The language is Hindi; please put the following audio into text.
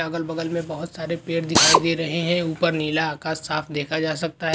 अगल-बगल में बहुत सारे पेड़ दिखाई दे रहे हैं ऊपर नीला आकाश साफ़ देखा जा सकता है।